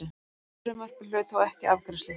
Frumvarpið hlaut þó ekki afgreiðslu.